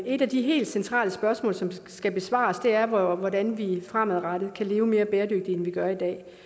et af de helt centrale spørgsmål som skal besvares er hvordan vi fremadrettet kan leve mere bæredygtigt end vi gør i